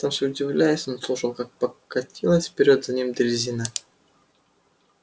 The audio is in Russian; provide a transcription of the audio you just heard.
сам себе удивляясь он слушал как покатилась вперёд за ним дрезина